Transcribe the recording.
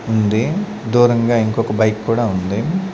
ఉంది దూరంగా ఇంకొక బైక్ కూడా ఉంది.